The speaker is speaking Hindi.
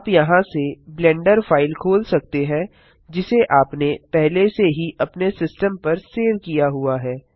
आप यहाँ से ब्लेंडर फाइल खोल सकते हैं जिसे आपने पहले से ही अपने सिस्टम पर सेव किया हुआ है